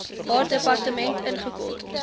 haar departement ingekort